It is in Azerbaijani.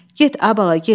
Get, ay bala, get.